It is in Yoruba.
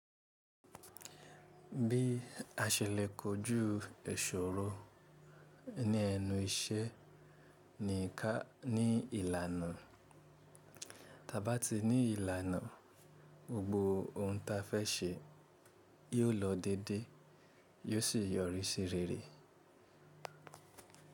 Bí a ṣe lẹkọ̀ọ́ jú èṣòrò ní ẹnu iṣẹ́ ní ìlànà, ta bá ti ní ìlànà, gbogbo ohun ta fẹ́ ṣe yóò lọ dédé, yóò sì yọrí sí rere.